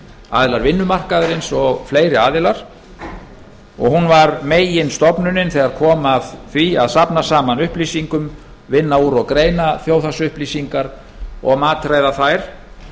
aðilar vinnumarkaðarins og fleiri og hún var meginstofnunin þegar kom að því að safna saman upplýsingum vinna úr og greina þjóðhagsupplýsingar og matreiða þær